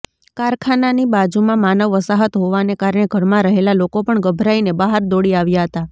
કારખાનાની બાજૂમાં માનવ વસાહત હોવાને કારણે ઘરમાં રહેલા લોકો પણ ગભરાઇને બહાર દોડી આવ્યા હતા